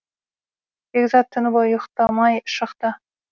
бекзат түні бойы ұйықтамай шықты